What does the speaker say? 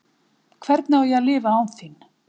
Hvernig á ég að lifa án þín?